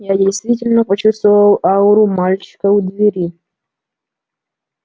я действительно почувствовал ауру мальчика у двери